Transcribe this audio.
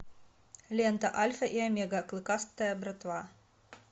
лента альфа и омега клыкастая братва